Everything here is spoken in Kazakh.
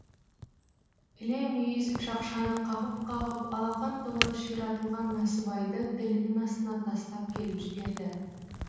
іле мүйіз шақшаны қағып қағып алақан толы ширатылған насыбайды тілінің астына тастап келіп жіберді